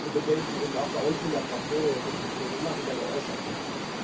Diese Bedenken sind auch bei uns in der Fraktion in der Diskussion immer wieder geäußert worden.